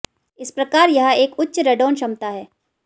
इस प्रकार यह एक उच्च रेडॉन क्षमता है